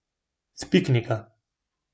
S piknika.